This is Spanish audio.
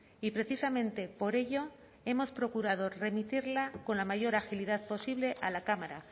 y precisamente por ello hemos procurado remitirla con la mayor agilidad posible a la cámara